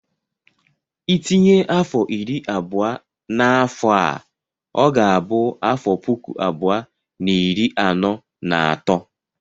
Ị tinye afọ iri abụọ na afọ a, ọ ga-abụ afọ puku abụọ na iri anọ na atọ.